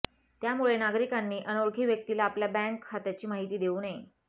त्यामुळे नागरिकांनी अनोळखी व्यक्तीला आपल्या बँक खात्याची माहिती देऊ नये